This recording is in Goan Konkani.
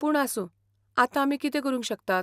पूण आसूं, आतां आमी कितें करूंक शकतात?